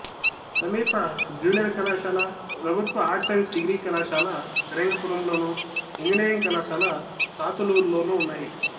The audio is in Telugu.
సమీప జూనియర్ కళాశాల ప్రభుత్వ ఆర్ట్స్ సైన్స్ డిగ్రీ కళాశాల ఫిరంగిపురంలోను ఇంజనీరింగ్ కళాశాల సాతులూరులోనూ ఉన్నాయి